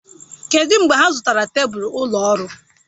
Kedụ mgbe ha zụtara tebụl ụlọ ọrụ?